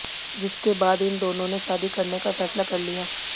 जिसके बाद इन दोनों ने शादी करने का फैसला कर लिया